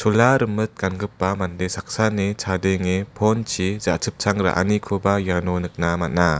chola rimit gangipa mande saksani chadenge phone-chi ja·chipchang ra·anikoba iano nikna man·a.